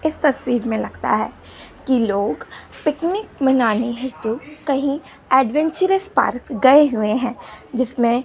इस तस्वीर में लगता है की लोग पिकनिक मनाने हेतु कहीं एडवेंचरस पार्क गए हुए हैं जिसमें--